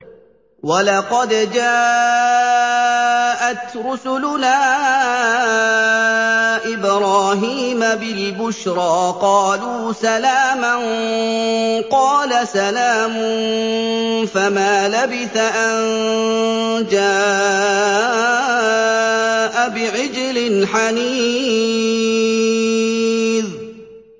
وَلَقَدْ جَاءَتْ رُسُلُنَا إِبْرَاهِيمَ بِالْبُشْرَىٰ قَالُوا سَلَامًا ۖ قَالَ سَلَامٌ ۖ فَمَا لَبِثَ أَن جَاءَ بِعِجْلٍ حَنِيذٍ